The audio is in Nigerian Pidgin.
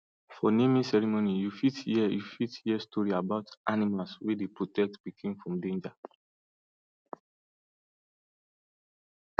for naming ceremony you fit hear you fit hear story about animals wey dey protect pikin from danger